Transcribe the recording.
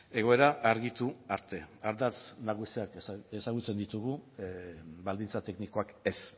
egoera argitu arte ardatz nagusiak ezagutzen ditugu baldintza teknikoak ez